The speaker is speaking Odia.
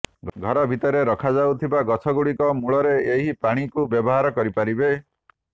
ଘର ଭିତରେ ରଖାଯାଉଥିବା ଗଛଗୁଡ଼ିକ ମୂଳରେ ଏହି ପାଣିକୁ ବ୍ୟବହାର କରିପାରିବେ